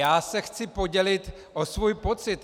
Já se chci podělit o svůj pocit.